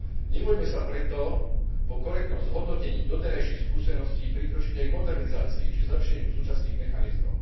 Nebojme sa preto po korektnom zhodnotení doterajších skúseností prikročiť aj k modernizácii či zlepšeniu súčasných mechanizmov.